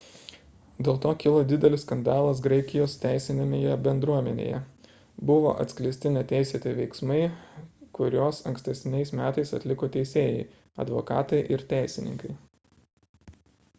dėl to kilo didelis skandalas graikijos teisinėje bendruomenėje – buvo atskleisti neteisėti veiksmai kuriuos ankstesniais metais atliko teisėjai advokatai ir teisininkai